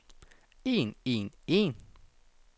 en en en